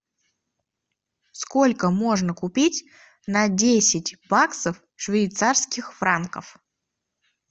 сколько можно купить на десять баксов швейцарских франков